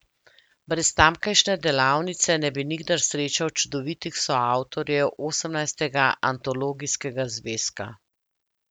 Brez tamkajšnje delavnice ne bi nikdar srečal čudovitih soavtorjev osemnajstega antologijskega zvezka.